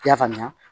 I y'a faamuya